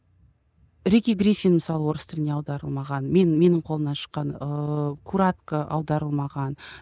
рикки гриффин мысалы орыс тіліне аударылмаған мен менің қолымнан шыққан ыыы курак аударылмаған